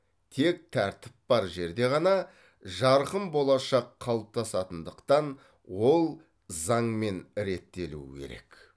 тек тәртіп бар жерде ғана жарқын болашақ қалыптасатындықтан ол заңмен реттелуі керек